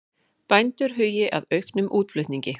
Bændur hugi að auknum útflutningi